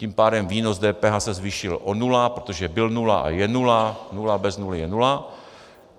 Tím pádem výnos DPH se zvýšil o nulu, protože byl nula a je nula, nula bez nuly je nula.